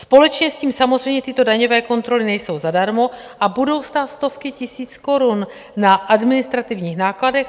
Společně s tím samozřejmě tyto daňové kontroly nejsou zadarmo a budou stát stovky tisíc korun na administrativních nákladech.